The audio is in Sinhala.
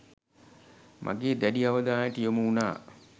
මගේ දැඩි අවධානයට යොමු වුණා.